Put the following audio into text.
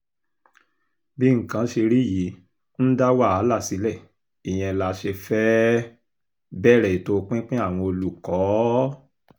bí nǹkan ṣe rí yìí ń dá wàhálà sílẹ̀ ìyẹn la ṣe fẹ́ẹ́ um bẹ̀rẹ̀ ètò pinpin àwọn olùkọ́ um